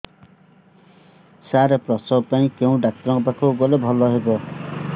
ସାର ପ୍ରସବ ପାଇଁ କେଉଁ ଡକ୍ଟର ଙ୍କ ପାଖକୁ ଗଲେ ଭଲ ହେବ